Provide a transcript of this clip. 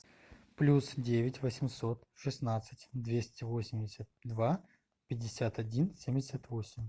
плюс девять восемьсот шестнадцать двести восемьдесят два пятьдесят один семьдесят восемь